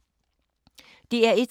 DR1